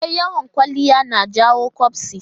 E, yawan kwaliya na jawo ƙyabsi.